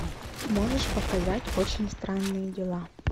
можешь показать очень странные дела